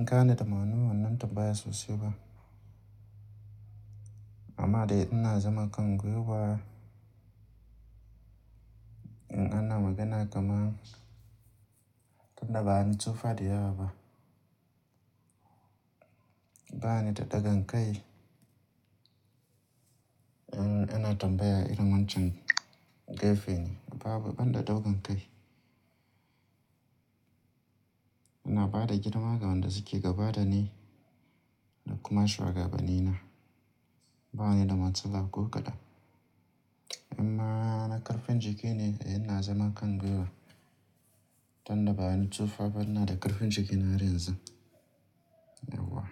Nka ne da ma'ana wannan tambaya sosai ba. Amma dai ina zama Kangwe wa. In a na magana kaman, tunda bani tsufa diyaba. Bani da dogon kai, eh ina tambaya irin wancan gefe ne, babu ban da dogon kai. Ina bada girmama ga wanda suke gabada ni da kuma shugabanni na. Bani da matsala ko kaɗan. Amma na karfin jiki ne, ina zama Kangwe wa. Tunda bani tsufa ban da ƙarfin jiki na har yanzun. Eh wa.